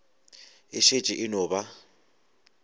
e šetše e no ba